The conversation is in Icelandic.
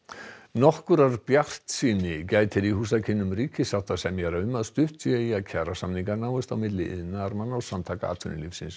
nokkurrar bjartsýni gætir í húsakynnum ríkissáttasemjara um að stutt sé í að kjarasamningar náist milli iðnaðarmanna og Samtaka atvinnulífsins